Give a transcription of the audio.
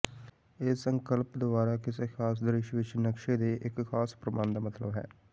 ਇਸ ਸੰਕਲਪ ਦੁਆਰਾ ਕਿਸੇ ਖ਼ਾਸ ਦ੍ਰਿਸ਼ ਵਿੱਚ ਨਕਸ਼ੇ ਦੇ ਇੱਕ ਖਾਸ ਪ੍ਰਬੰਧ ਦਾ ਮਤਲਬ ਹੈ